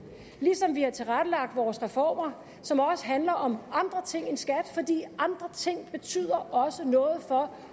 ligesom vi har tilrettelagt vores reformer som også handler om andre ting end skat fordi andre ting også betyder noget for